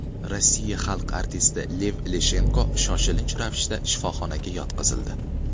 Rossiya xalq artisti Lev Leshenko shoshilinch ravishda shifoxonaga yotqizildi.